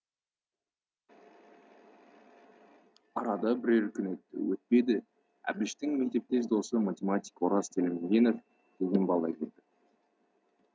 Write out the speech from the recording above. арада бірер күн өтті өтпеді әбіштің мектептес досы математик ораз телемгенов деген бала келді